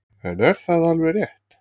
En er það alveg rétt?